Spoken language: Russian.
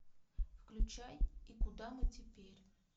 включай и куда мы теперь